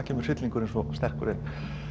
kemur hryllingur svo sterkur inn